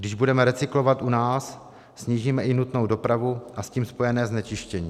Když budeme recyklovat u nás, snížíme i nutnou dopravu a s tím spojené znečištění.